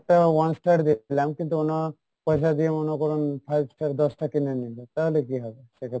একটা one star দেখলাম কিন্তু পয়সা দিয়ে মনে করুন five star দশ টা কিনে নিলো তাহলে কী হয় সেক্ষেত্রে?